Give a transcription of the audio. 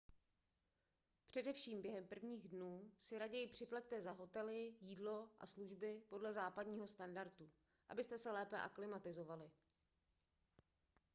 především během prvních dnů si raději připlaťte za hotely jídlo a služby podle západního standardu abyste se lépe aklimatizovali